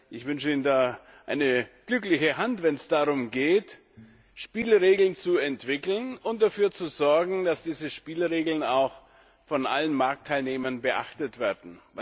Ich wünsche Ihnen eine glückliche Hand, wenn es darum geht, Spielregeln zu entwickeln und dafür zu sorgen, dass diese Spielregeln auch von allen Marktteilnehmern beachtet werden.